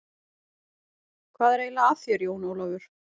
Hvað er eiginlega að þér, Jón Ólafur?